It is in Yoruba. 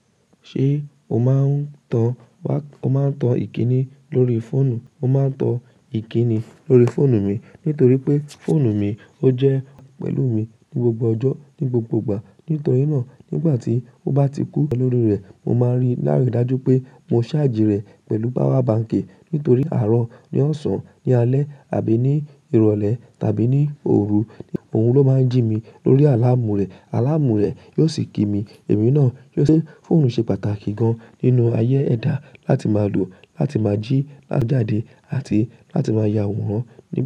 Ṣé o máa ń tan wá, o máa ń tan ìkíni lórí fóònù? Mo máa ń tan ìkíni lórí fóònù mi nítorí pé fóònù mi ó jẹ́ pẹ̀lú mi ní gbogbo ọjọ́, ní gbogbo ìgbà. Nítorí náà nígbà tí ó bá ti kú lórí rẹ̀, mo máa rí láàrín dájú pé mo charge ì rẹ̀ pẹ̀lú power bank nítorí àárọ̀, ní ọ̀sán, ní alẹ́ àbí ní ìrọ̀lẹ́ tàbí ní òru, òhun ló máa ń jí mi lórí àláàmù rẹ̀. Àláàmù rẹ̀ yóò sì kí mi. Ẹ̀mí náà yóò sì. Fóònù ṣe pàtàkì gan nínú ayé ẹ̀dá láti máa lò, láti máa jí, láti máa jáde àti láti máa ya àwòrán.